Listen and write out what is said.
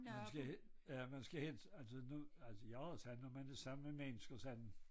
Man skal helst ja man skal helst altså nu altså jeg har sagt når man er sammen med mennesker sådan